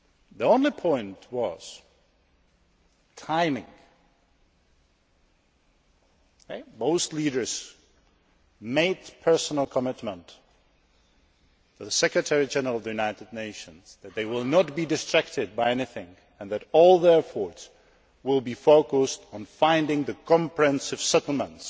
The only point was timing. Most leaders made a personal commitment to the Secretary General of the United Nations that they will not be distracted by anything and that all their efforts will be focused on finding a comprehensive settlement,